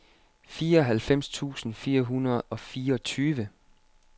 fireoghalvfems tusind fire hundrede og fireogtyve